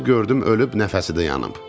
Gəlib gördüm ölüb, nəfəsi də yanıb.